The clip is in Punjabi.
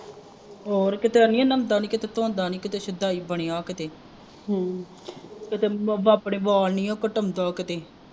ਹੋਰ ਕਿਤੇ ਅੜੀਏ ਨਹਾਉਂਦਾ ਨੇ ਕਿਤੇ ਧੋਂਦਾ ਨਹੀਂ ਕਿਤੇ ਸ਼ੁਦਾਈ ਬਣਿਆ ਕਿਤੇ ਕਿਤੇ ਆਪਣੇ ਵਾਲ ਨਹੀਂ ਕਟਾਉਂਦਾ ਕਿਤੇ